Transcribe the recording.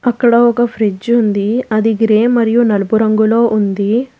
అక్కడ ఒక ఫ్రిడ్జ్ ఉంది అది గ్రే మరియు నలుపు రంగులో ఉంది.